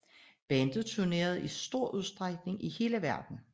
Bandet turnerer i stor udstrækning i hele verden